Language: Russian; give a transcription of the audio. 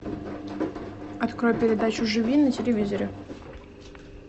открой передачу живи на телевизоре